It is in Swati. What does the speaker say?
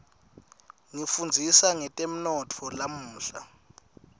ngifundzisa ngetemnotfo lamuhla